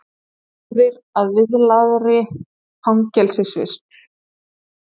Allsgáðir að viðlagðri fangelsisvist